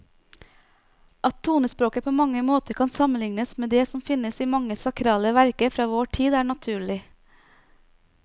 At tonespråket på mange måter kan sammenlignes med det som finnes i mange sakrale verker fra vår tid, er naturlig.